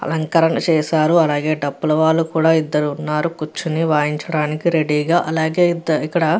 అలంకరణ చేసారు అలాగే టప్పుల వాళ్ళు కూడ ఇద్దరు వున్నారు కూర్చొని వాయించడానికి రెడీ గా అలాగే ఇద్ద ఇక్కడ --